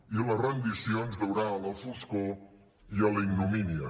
i la rendició ens durà a la foscor i a la ignomínia